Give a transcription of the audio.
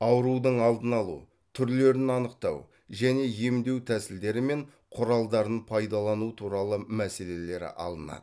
аурудың алдын алу түрлерін анықтау және емдеу тәсілдері мен құралдарын пайдалану туралы мәселелері алынады